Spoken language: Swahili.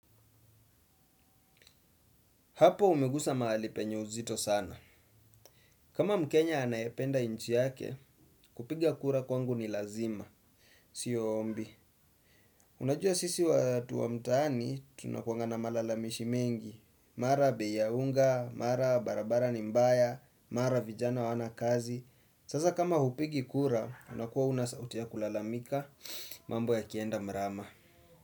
Hapo umegusa mahali penye uzito sana. Kama mkenya anayependa nchi yake, kupiga kura kwangu ni lazima. Sio ombi. Unajua sisi watu wa mtaani, tunakuanga na malalamishi mengi. Mara bei ya unga, mara barabara ni mbaya, mara vijana hawana kazi. Sasa kama hupigi kura, unakuwa auna sauti ya kulalamika, mambo yakienda mrama.